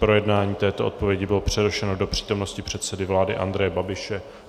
Projednání této odpovědi bylo přerušeno do přítomnosti předsedy vlády Andreje Babiše.